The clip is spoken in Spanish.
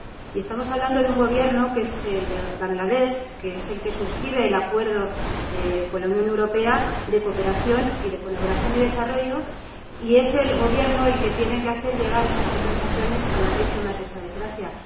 Y estamos hablando de un Gobierno, que es el de Bangladés, que es el que suscribe el Acuerdo de Cooperación con la Unión Europea sobre Colaboración y Desarrollo, y es el Gobierno el que tiene que hacer llegar esas compensaciones a las víctimas de esa desgracia.